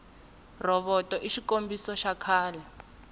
rhovoto i xikombisa xa kahle